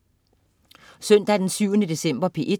Søndag den 7. december - P1: